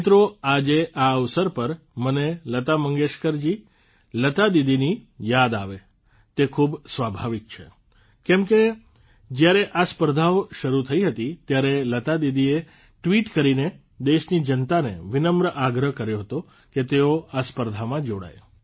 મિત્રો આજે આ અવસર પર મને લતા મંગેશકરજી લતા દીદીની યાદ આવે તે ખૂબ સ્વાભાવિક છે કેમ કે જયારે આ સ્પર્ધાઓ શરૂ થઇ હતી ત્યારે લતા દીદીએ ટ્વીટ કરીને દેશની જનતાને વિનમ્ર આગ્રહ કર્યો હતો કે તેઓ આ સ્પર્ધામાં જોડાય